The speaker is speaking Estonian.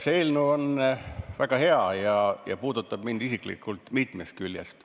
See eelnõu on väga hea ja puudutab ka mind isiklikult mitmest küljest.